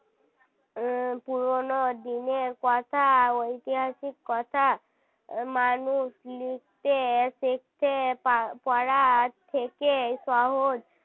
উম পুরনো দিনের কথা ঐতিহাসিক কথা মানুষ লিখতে শিখতে পারার থেকে সহজ